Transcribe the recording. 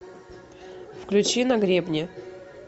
включи на гребне